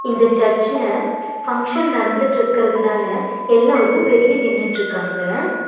இந்த சர்ச்சில ஃபங்ஷன் நடந்துட்ருக்றதுனால எல்லோரு வெளிய நின்னுட்ருக்காங்க.